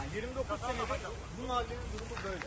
29 sənədir bu məhəllənin durumu belə.